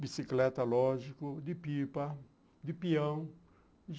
bicicleta, lógico, de pipa, de peão.